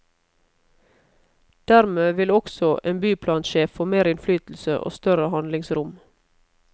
Dermed vil også en byplansjef få mer innflytelse og større handlingsrom.